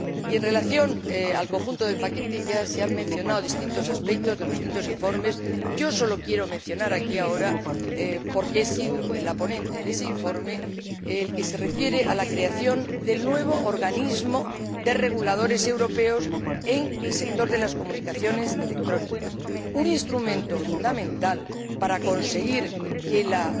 Y, en relación con el conjunto de paquetes —ya se han mencionado distintos aspectos de los distintos informes—, yo sólo quiero mencionar aquí ahora, porque he sido la ponente de este informe, el que se refiere a la creación del nuevo organismo de reguladores europeos en el sector de las comunicaciones electrónicas, un instrumento fundamental para conseguir que las